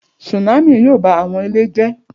Tsunami yoo ba awọn ile jẹ